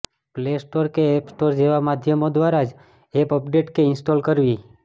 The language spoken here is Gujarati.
પ્લેસ્ટોર કે એપ સ્ટોર જેવા માધ્યમો દ્વારા જ એપ અપડેટ કે ઇન્સટોલ કરવી